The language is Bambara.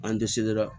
An dɛsɛra